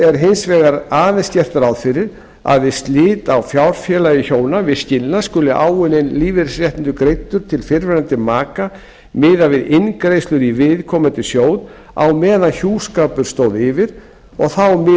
er hins vegar aðeins gert ráð fyrir að við slit á fjárfélagi hjóna við skilnað skuli áunninn lífeyrisréttur greiddur til fyrrverandi maka miðað við inngreiðslur í viðkomandi sjóð á meðan hjúskapur stóð yfir og þá miðað